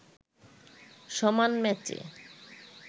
সমান ম্যাচে